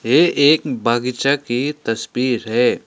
ये एक बागीचा की तस्वीर है।